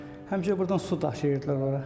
Həmişə burdan su daşıyırdılar ora.